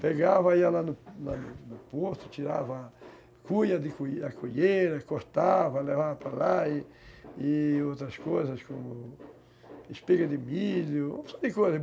Pegava, ia lá no no porto, tirava a cuia, a cueira, cortava, levava para lá e e outras coisas, como espiga de milho, um monte de coisa.